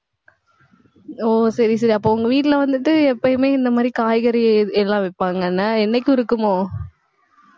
ஓ, சரி, சரி, அப்போ உங்க வீட்ல வந்துட்டு எப்பயுமே இந்த மாதிரி காய்கறி எல்லாம் வெப்பாங்கன்னே என்னைக்கும் இருக்குமோ